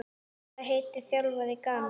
Hvað heitir þjálfari Gana?